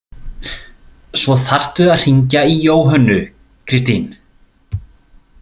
Svo þarftu að hringja í Jóhönnu, Kristín.